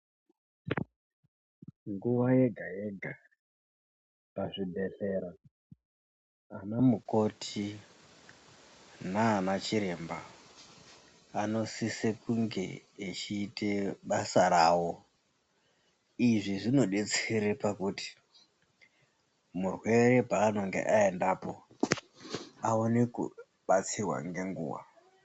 Nguva yega-yega pazvibhedhlera anamukoti nanachiremba anosise kunge echiite basa rawo. Izvi zvinodetsere pakuti murwere peanenge aendapo, aone kubatsirwa ngenguwa.